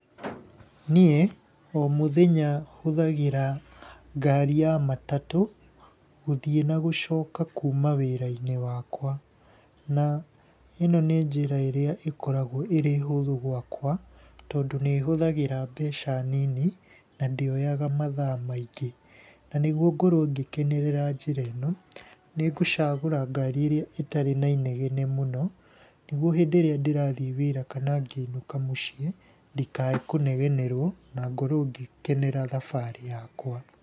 Niĩ o mũthenya hũthagĩra ngari ya matatũ gũthiĩ nagũcoka kuuma wĩra-inĩ wakwa, na ĩno nĩ njĩra ĩrĩa ĩkoragwo ĩrĩ hũthũ gwakwa, tondũ nĩ hũthagĩra mbeca nini, na ndĩoyaga mathaa maingĩ. Na nĩguo ngorwo ngĩkenerera njĩra ĩno, nĩ ngũcagũra ngari ĩrĩa ĩtarĩ na inegene mũno, nĩguo hĩndĩ ĩrĩa ndĩrathiĩ wĩra kana ngĩinũka mũciĩ, ndikae kũnegenerwo na ngorwo ngĩkenera thabarĩ yakwa.